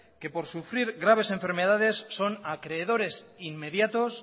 que por sufrir graves enfermedades son acreedores inmediatos